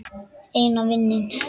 Eina vininn.